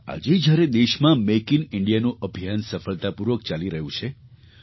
આજે જ્યારે દેશમાં મેક ઇન ઇન્ડિયાનું અભિયાન સફળતાપૂર્વક ચાલી રહ્યું છે તો ડૉ